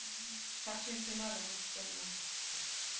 так что если надо будет спою